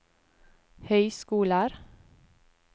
høyskoler